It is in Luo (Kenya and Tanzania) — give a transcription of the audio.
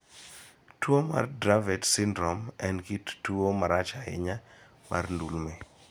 Tuo mar Dravet syndrome en kit tuo marach ahinya mar ndulme.